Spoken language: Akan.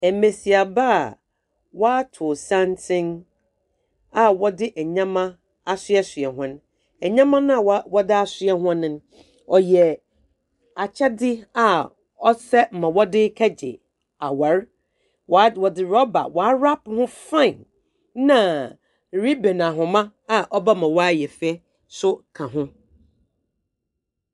Mmesiamma waato santen a wɔde nnoɔma asoɛsoa wɔn. Nnoɔma a wɔde asoɛ hɔn no ɔyɛ akyɛde a ɔsɛ nea ɔde kɔgye aware. Wɔde rubber wa wrap ho fine na ribbon ahoma a w'abɔ ma na yɛ fɛ so ka ho.